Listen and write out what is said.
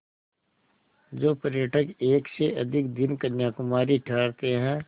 जो पर्यटक एक से अधिक दिन कन्याकुमारी ठहरते हैं